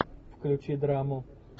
включи драму